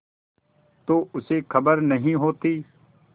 तो उसे खबर नहीं होती